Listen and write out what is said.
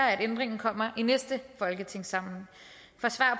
at ændringen kommer i næste folketingssamling